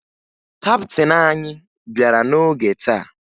Kaptịn anyị bịara n'oge taa